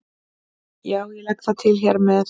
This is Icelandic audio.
Já, ég legg það til hér með.